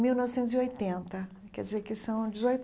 Mil novecentos e oitenta Quer dizer que são dezoito.